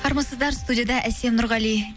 армысыздар студияда әсем нұрғали